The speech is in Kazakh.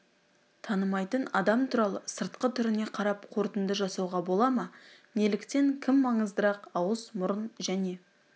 танымайтын адам туралы сыртқы түріне қарап қорытынды жасауға бола ма неліктен кім маңыздырақ ауыз мұрын және